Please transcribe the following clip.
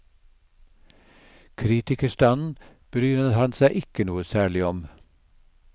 Kritikerstanden bryr han seg ikke noe særlig om.